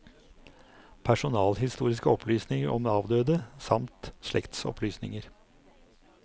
Personalhistoriske opplysninger om avdøde, samt slektsopplysninger.